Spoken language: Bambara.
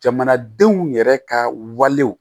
Jamanadenw yɛrɛ ka walew